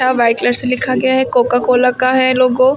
और white colour से लिखा गया है कोकाकोला का है लोगो ।